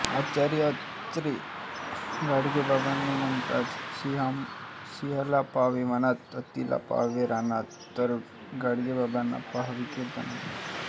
आचार्य अत्रे गाडगेबाबांबद्दल म्हणतात सिंहाला पाहावे वनात हत्तीला पाहावे रानात तर गाडगेबाबांना पाहावे कीर्तनात